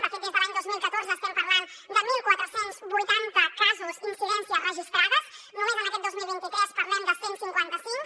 de fet des de l’any dos mil catorze estem parlant de catorze vuitanta casos incidències registrades només en aquest dos mil vint tres parlem de cent i cinquanta cinc